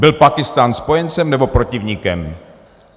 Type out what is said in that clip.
Byl Pákistán spojencem, nebo protivníkem?